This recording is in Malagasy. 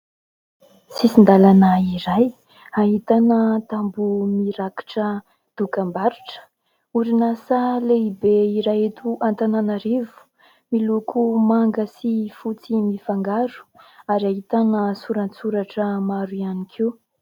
Sisin-dalana iray ahitana tamboho mirakitra dokam-barotra. Orinasa lehibe iray eto Antananarivo miloko manga sy fotsy mifangaro ary ahitana soratsoratra maro ihany koa.